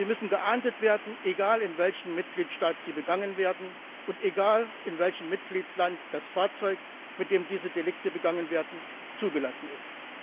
Sie müssen geahndet werden egal, in welchem Mitgliedstaat sie begangen werden und in welchem Mitgliedstaat das Fahrzeug, mit dem diese Delikte begangen werden, zugelassen ist.